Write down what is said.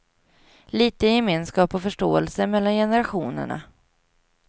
Litet gemenskap och förståelse mellan generationerna.